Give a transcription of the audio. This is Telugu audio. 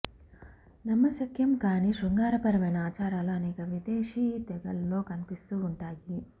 నమ్మశక్యం కాని శృంగార పరమైన ఆచారాలు అనేక విదేశీ తెగల్లో కనిపిస్తూ ఉంటాయి